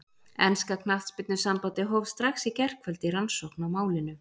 Enska knattspyrnusambandið hóf strax í gærkvöldi rannsókn á málinu.